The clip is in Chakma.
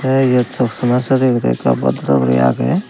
tey eyot soksoma sore budai ekka boddoro guri agey.